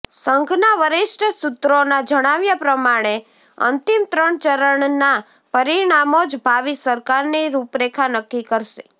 સંઘના વરિષ્ઠ સૂત્રોના જણાવ્યા પ્રમાણે અંતિમ ત્રણ ચરણના પરિણામો જ ભાવિ સરકારની રૂપરેખા નક્કી કરશે